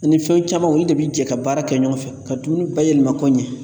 Ani fɛn caman , olu de bɛ jɛ ka baara kɛ ɲɔgɔn fɛ ,ka dumuni bayɛlɛma k'o ɲɛ.